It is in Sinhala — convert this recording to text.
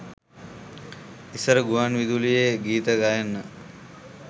ඉස්සර ගුවන් විදුලියේ ගීත ගයන්න